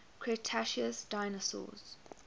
cretaceous dinosaurs